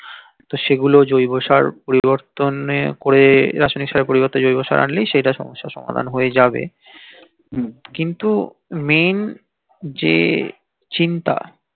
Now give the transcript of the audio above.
তো সেগুলো জৈব সার পরিবর্তন এ করে রাসায়নিক সসারের পরিবর্তে জৈব সার অনলি সেইটা সমস্যার সমাধান হয়ে যাবে কিন্তু main যে চিন্তা